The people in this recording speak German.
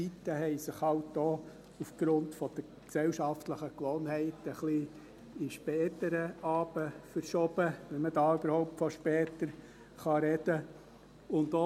Die Zeiten haben sich halt auch aufgrund der gesellschaftlichen Gewohnheiten in den späteren Abend verschoben, wenn man da überhaupt von später sprechen kann.